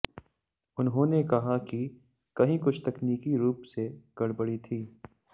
उन्होंने कहा कि कहीं कुछ तकनीकी रूप से गड़बड़ी थी